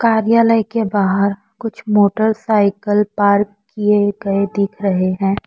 कार्यालय के बाहर कुछ मोटरसाइकिल पार्क किए गए दिख रहे हैं।